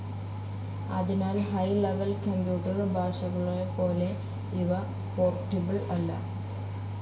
അതിനാൽ high level computer ഭാഷകളെപ്പോലെ ഇവ പോർട്ടബിൾ അല്ല.